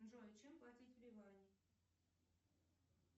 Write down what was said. джой чем платить в ливане